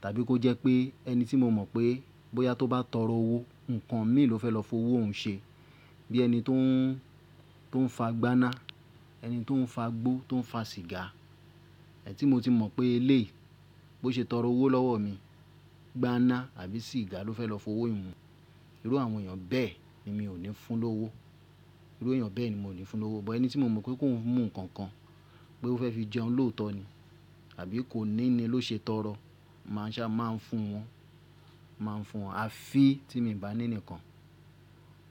Tàbí kó jẹ́ pé ẹni tí mo mọ̀ pé bóyá tó bá tọrọ owó, nǹkan mi ló fẹ́ lọ fowó òun ṣe. Bí ẹni to ń to n fa gbáná, ẹni tó ń fa gbó, tó ń fa sìgá. Ẹni tí mo ti mọ̀ pé eléyii bó ṣe tọrọ owó lọ́wọ́ mi, gbáná àbí sìgá ló fẹ́ lọ fowó mi Irú àwọn èèyàn bẹ́ẹ̀ ni mi ò ní fún un lówó. Irú èèyàn bẹ́ẹ̀ ni mo ò ní fún un lówó. Ọ̀ but ẹni tí mo mọ̀ pé kó ń mu nǹkan kan, pé ó fẹ́ fi jẹun lóòótọ́ ni. Tàbí kòní ni ló ṣe tọrọ. Màá ṣa, máa ń fún wọn, máa ń fún wọn. A fi tí mi bà ní nikan.